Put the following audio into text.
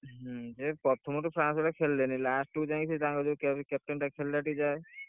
ହୁଁ ପ୍ରଥମ ରୁ France ଗୁଡାକ ଖେଳିଲେନି last କୁ ଯାଇ ତାଙ୍କର captain ଟା ଖେଳିଲା ଟିକେ ଯାଏ।